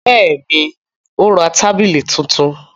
Bẹ́ẹ̀ ni, ó ra tábìlì tuntun.